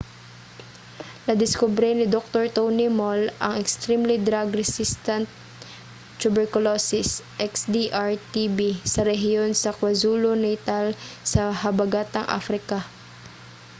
nadiskubre ni doktor tony moll ang extremely drug resistant tuberculosis xdr-tb sa rehiyon sa kwazulu-natal sa habagatang africa